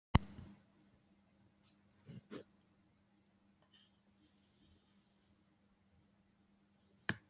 Við höfum engan veginn getað annað eftirspurn.